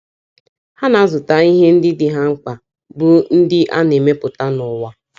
Ha na - azụta ihe ndị dị ha mkpa, bụ́ ndị a na - emepụta n’ụwa.